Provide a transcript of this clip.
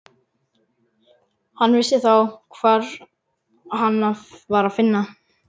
Hann vissi þá hvar hana var að finna.